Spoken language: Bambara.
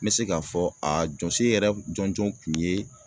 N bɛ se k'a fɔ a jɔsen yɛrɛ jɔnjɔn kun ye